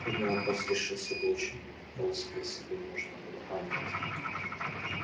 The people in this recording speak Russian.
трудный вопрос решился бы очень просто если бы можно было понять